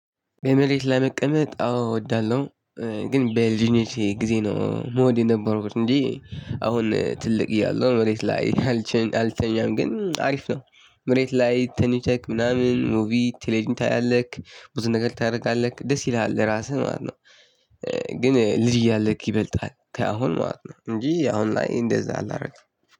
በመሬት ላይ መቀመጥ አዎ እወዳለሁ። ግን በልጅነቴ ጊዜ ነው ምወድ የነበረው እንጂ አሁን ትልቅ እያለሁ መሬት ላይ አልተኛም። ግን አሪፍ ነው መሬት ላይ ተኝተክ ምናምን ሙቪ ቴሌቭዢን ታያለህ ብዙ ነገር ታደርጋለህ ደስ ይልሃል ለራስህ ማለት ነው። ግንልጅ እያለክ ይበልጣል። ከአሁኑ እንጅ አሁን ላይ እንደዚህ አላደርግም።